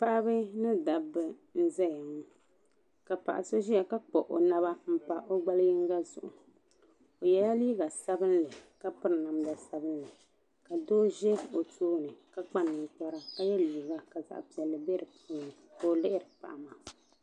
Paɣaba mini dabba n zaya ŋɔ paɣaso ʒeya ka kpuɣi o naba m pa o gballi yinga zuɣu o yɛla liiga sabinli ka piri namda sabinli ka doo ʒe o tooni ka kpa ninkpara ka yɛ liiga ka zaɣi piɛlli bɛ dini ka o lihiri.